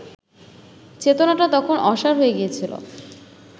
চেতনাটা তখন অসাড় হয়ে গিয়েছিল